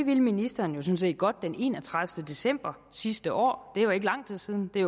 vil ministeren så set godt den enogtredivete december sidste år det er jo ikke lang tid siden det er